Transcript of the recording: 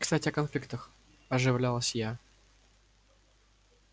кстати о конфликтах оживилась я